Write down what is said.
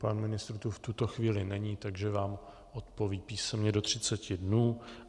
Pan ministr tu v tuto chvíli není, takže vám odpoví písemně do 30 dnů.